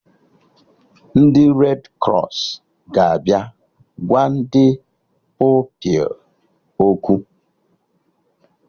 Ndị red krọs ga-abịa gwa ndị Pupilụ okwu